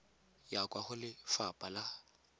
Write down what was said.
ya kwa go lefapha la